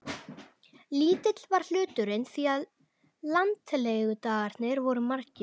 Lítill var hluturinn því að landlegudagarnir voru margir.